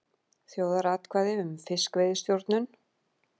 Þjóðaratkvæði um fiskveiðistjórnun